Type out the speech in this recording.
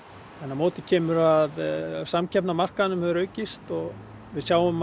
á móti kemur að samkeppni á markaðinum hefur aukist við sjáum